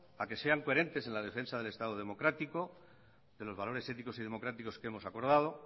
a que sean coherentes en la defensa del estado democrático de los valores éticos y democráticos que hemos acordado